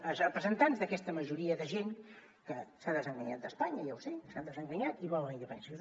els representants d’aquesta majoria de gent que s’ha desenganyat d’espanya ja ho sé s’han desenganyat i volen la independència